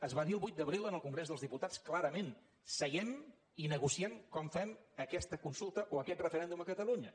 es va dir el vuit d’abril en el congrés dels diputats clarament seiem i negociem com fem aquesta consulta o aquest referèndum a catalunya